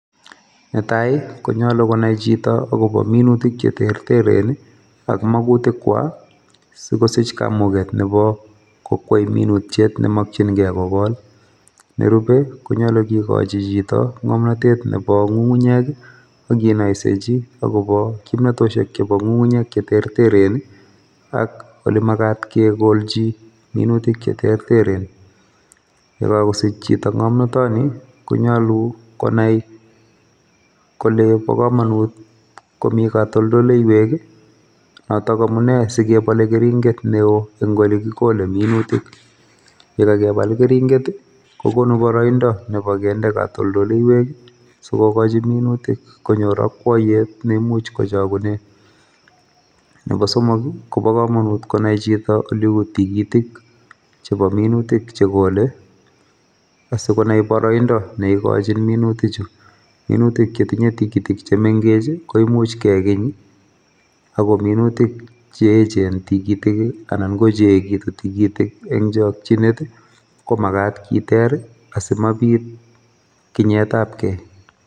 Netai konyolu konai chito akobo minutik che terteren ii ak makutikwak sikosich kamuket nebo kokwei minutiet nemakchinkei kokol, nerube konyalu kikochi chito ngomnotet nebo ngungunyek ii ak kinoisechi akobo kimnotosiek chebo ngungunyek che terteren ii ak ole makat kekolchi minutik che terteren, ye kakosich chito ngomnotoni konyolu konai kole bo kamanut komi katoldoleiwek ii, notok amune sikebole keringet ne oo eng ole kikole minutik, ye kakebal keringet ii kokonu boroindo nebo kende katoldoleiwek ii si kokochi minutik konyor akwaiyet neimuch kochakune, nebo somok ii kobo kamanut konai chito ole uu tikitik chebo minutik che kole asi konai boroindo ne ikochin minuti chu, minutik chetinye tikitik che mengech ii, koimuch kekiny ii ako minutik che echen tikitik anan ko che ekitu tikitik eng chokchinet ii ko makat kiter ii asimabit kinyetabkei.